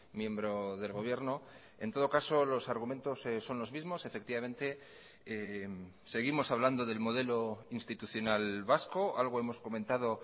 miembro del gobierno en todo caso los argumentos son los mismos efectivamente seguimos hablando del modelo institucional vasco algo hemos comentado